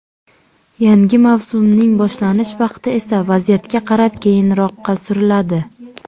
Yangi mavsumning boshlanish vaqti esa vaziyatga qarab keyinroqqa suriladi.